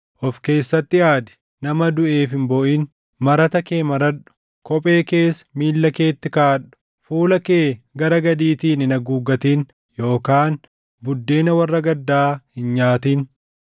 Of keessatti aadi; nama duʼeef hin booʼin. Marata kee maradhu; kophee kees miilla keetti kaaʼadhu; fuula kee gara gadiitiin hin haguuggatin yookaan buddeena warra gaddaa hin nyaatin.”